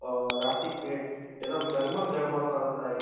और राती के एदम जगमग जगमग करता इ।